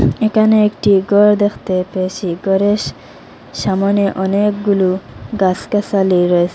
একানে একটি গর দেখতে পেয়েছি গরের সামোনে অনেকগুলো গাসগাসালি রয়েসে।